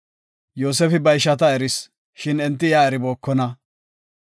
Yoosefi ba ishata eris, shin enti iya eribookona.